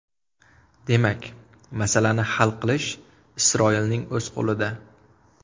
Demak, masalani hal qilish Isroilning o‘z qo‘lida.